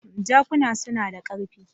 Jakuna suna da ƙarfi.